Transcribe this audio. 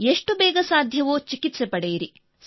ಎಷ್ಟು ಬೇಗ ಸಾಧ್ಯವೋ ಚಿಕಿತ್ಸೆ ಪಡೆಯಿರಿ